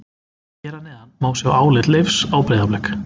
Hér að neðan má sjá álit Leifs á Breiðablik.